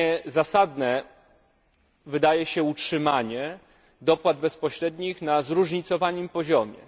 bezzasadne wydaje się utrzymanie dopłat bezpośrednich na zróżnicowanym poziomie.